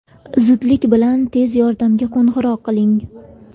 Zudlik bilan tez yordamga qo‘ng‘iroq qiling.